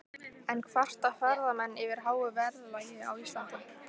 En kvarta ferðamenn yfir háu verðlagi á Íslandi?